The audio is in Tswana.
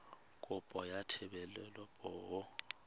kopo ya thebolo ya poo